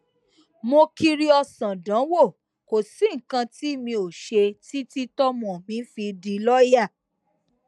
mo kiri ọsán dánwò kò sí nǹkan tí mi ò ṣe títí tọmọ mi fi di lọọyà